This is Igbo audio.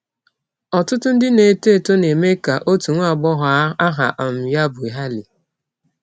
Ọtụtụ ndị na - etọ etọ na - eme ka ọtụ nwa agbọghọ aha um ya bụ cs] Hailey.